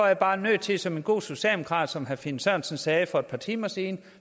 jeg bare nødt til som en god socialdemokrat som herre finn sørensen sagde for et par timer siden